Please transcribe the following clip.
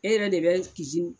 E yɛrɛ de bɛ